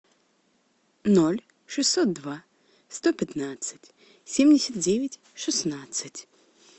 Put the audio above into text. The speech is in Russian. ноль шестьсот два сто пятнадцать семьдесят девять шестнадцать